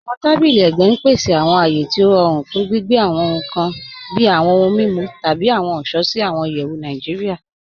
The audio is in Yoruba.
Awọn tàbílì ègbẹ n pèsè awọn àyé tí o rọ̀rùn fún gbìgbẹ̀ awọn ọhun kàn bí awọn ọhun mimu tabi awọn ọṣọ̀ sí awọn ìyẹwu Nàìjíríà.